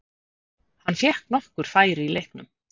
Hann fékk nokkur færi í leiknum.